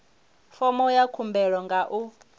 fomo ya khumbelo nga u